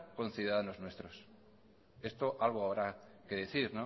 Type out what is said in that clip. conciudadanos nuestros esto algo habrá que decir